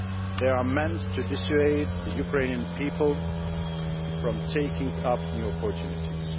They are meant to dissuade the Ukrainian people from taking up new opportunities.